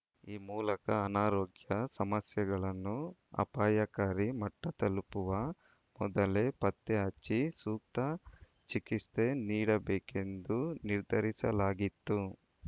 ಈ ಮೂಲಕ ಅನಾರೋಗ್ಯ ಸಮಸ್ಯೆಗಳನ್ನು ಅಪಾಯಕಾರಿ ಮಟ್ಟತಲುಪುವ ಮೊದಲೇ ಪತ್ತೆ ಹಚ್ಚಿ ಸೂಕ್ತ ಚಿಕಿತ್ಸೆ ನೀಡಬೇಕು ಎಂದು ನಿರ್ಧರಿಸಲಾಗಿತ್ತು